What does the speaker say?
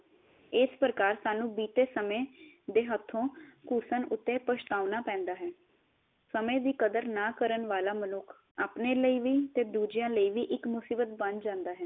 ਇਸ ਪ੍ਰਕਾਰ ਸਾਨੂ ਬੀਤੇ ਸਮੇ ਦੇ ਹਥੋ ਘੁਸਣ ਉਤੇ ਪਛਤਾਉਣਾ ਪੇੰਦਾ ਹੈ ਸਮੇ ਦੀ ਕਦਰ ਨਾ ਕਰਨ ਵਾਲਾ ਮਨੁਖ ਆਪਣੇ ਅਲੀ ਵੀ ਤੇ ਦੂਜਿਆ ਲਈ ਵੀ ਇਕ ਮੁਸੀਬਤ ਬਣ ਜਾਂਦਾ ਹੈ